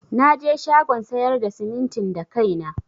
Naje shagon sayar da simintin da kaina.